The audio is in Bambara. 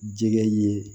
Jɛgɛ ye